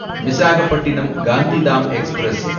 Visakhapatnam Gandhidham express